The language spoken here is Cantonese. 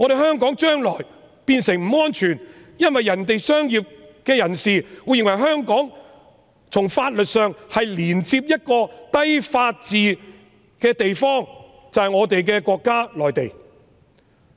香港將來變得不安全，因為其他商界人士會認為，香港從法律上已連接一個低法治的地方，便是我們的國家——內地。